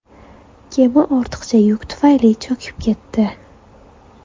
Kema ortiqcha yuk tufayli cho‘kib ketdi.